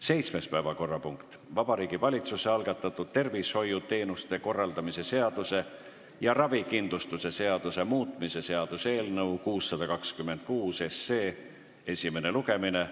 Seitsmes päevakorrapunkt: Vabariigi Valitsuse algatatud tervishoiuteenuste korraldamise seaduse ja ravikindlustuse seaduse muutmise seaduse eelnõu 626 esimene lugemine.